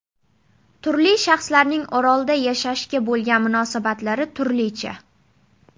Turli shaxslarning orolda yashashga bo‘lgan munosabatlari turlicha.